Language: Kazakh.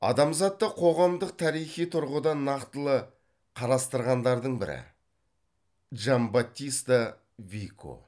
адамзатты қоғамдық тарихи тұрғыдан нақтылы қарастырғандардың бірі джанбаттиста вико